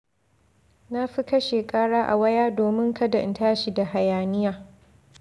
Na fi kashe ƙara a waya domin kada in tashi da hayaniya.